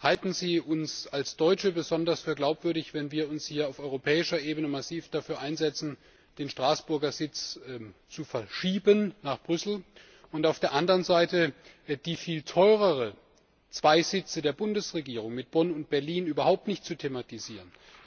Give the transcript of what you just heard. halten Sie uns als Deutsche für besonders glaubwürdig, wenn wir uns hier auf europäischer Ebene massiv dafür einsetzen, den Straßburger Sitz nach Brüssel zu verschieben, und auf der anderen Seite die viel teureren zwei Sitze der Bundesregierung mit Bonn und Berlin überhaupt nicht thematisieren?